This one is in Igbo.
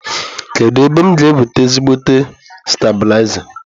Kedụ ebee m ga enweta ezigbote stabịlaza?